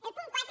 del punt quatre